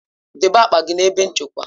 Dobe akpa gị na ebe nchekwa!